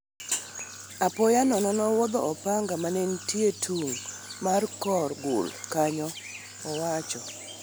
apoya nono nenowuodho opanga manenitie tung' mar kor gul kanyo,'' owacho.